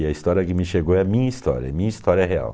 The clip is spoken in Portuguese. E a história que me chegou é a minha história, minha história real.